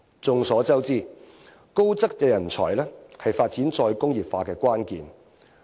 眾所周知，高質素人才是發展再工業化的關鍵。